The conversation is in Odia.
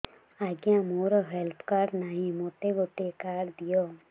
ଆଜ୍ଞା ମୋର ହେଲ୍ଥ କାର୍ଡ ନାହିଁ ମୋତେ ଗୋଟେ କାର୍ଡ ଦିଅ